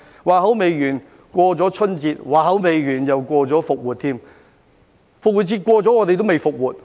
話音未落，過了春節；話音未落，又過了復活節；復活節過了，我們還未"復活"。